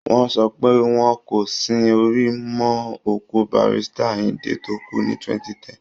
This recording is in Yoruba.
Wọ́n sọ pé wọn kò sin orí mọ́ òkú Barrister Ayindé tó kú ní 2010